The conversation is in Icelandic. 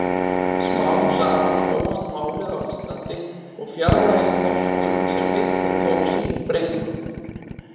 Smám saman þróast málið á Íslandi og fjarlægist norsku sem einnig tók sínum breytingum.